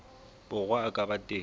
borwa a ka ba teng